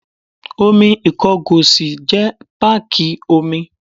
Omi Ìkọgòsì jẹ́ páàkì omi.